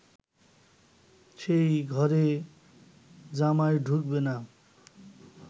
সেই ঘরে জামাই ঢুকবে না